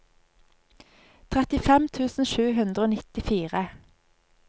trettifem tusen sju hundre og nittifire